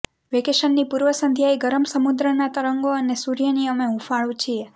વેકેશનની પૂર્વસંધ્યાએ ગરમ સમુદ્રના તરંગો અને સૂર્યની અમે હૂંફાળુ છીએ